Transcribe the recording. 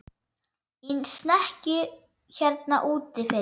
Í snekkju hérna úti fyrir!